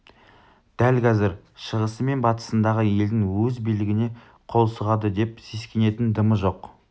дәл қазір шығысы мен батысындағы елдің өз билігіне қол сұғады деп сескенетін дымы жоқ